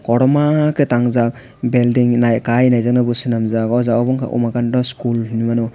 kotoma ke tangjak belding nai kai naijak nai bo semanjak o jaga wngkha omakanta eskol hinui mano.